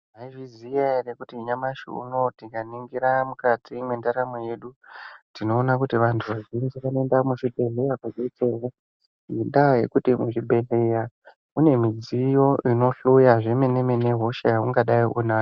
Maizviziva ere kuti nyamashi unowu tikaningira mukati mendaramo yedu tinoona kuti vantu vazhinji vanoenda muzvibhedhlera ngenda yekuti muzvibhedhlera mune midziyo yekuti vohloya hosha yekuti ungadai weinzwa.